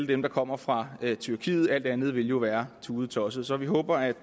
dem der kommer fra tyrkiet alt andet ville jo være tudetosset så vi håber at